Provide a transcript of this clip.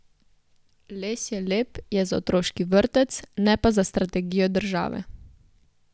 Les je lep je za otroški vrtec, ne pa za strategijo države.